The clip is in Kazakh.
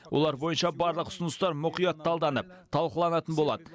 олар бойынша барлық ұсыныстар мұқият талданып талқыланатын болады